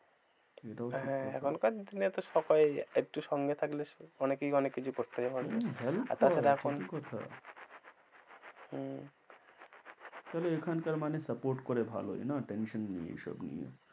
হ্যাঁ এখনকার দিনে তো সবাইই একটু সঙ্গে থাকলে অনেকেই অনেক কিছু করতে পারবেহম হলফ করা ঠিকই কথা হম তাহলে এখানকার মানে support করে ভালোই না tension নেই এসব নিয়ে।